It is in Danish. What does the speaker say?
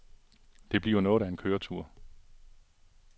Det bliver noget af en køretur.